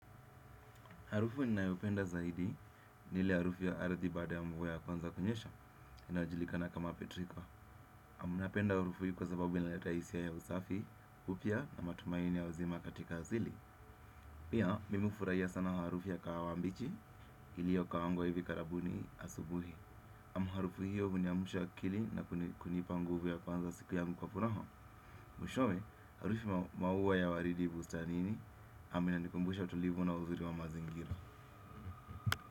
Harufu ninayopenda zaidi ni ile harufu ya aradhi bada ya mguwe ya kwanza kunyesha inayojilika na kama petrika ninapenda harufu hii kwa sababu inaleta isia ya usafi na matumaini ya uzima katika asili. Pia nimefuraiya sana harufu ya kahawa mbichi ilio kaangwa hivi karabuni asubuhi. Amu harufu hiyo huniamusha akili gangu na kunipa nguvu ya kwanza siku yangu kwa furaha mwishowe harufu maua ya waridi bustani aminanikumbusha tulivo na uzuri wa mazingira.